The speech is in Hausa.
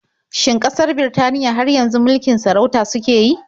Shin ƙasar Birtaniya har yanzu mulikin sarauta suke yi?